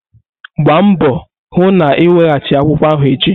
Gbaa mbọ hụ na ị weghachi akwụkwọ ahụ echi!